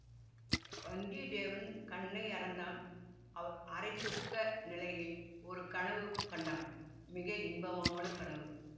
வந்தியத்தேவன் கண்ணயர்ந்தான் அரைத்தூக்க நிலையில் ஒரு கனவு கண்டான் மிக இன்பமான கனவு